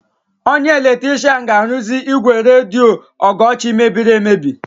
Onye eletrishian ga-arụzi ígwè redio Ọgọchi mebiri emebi.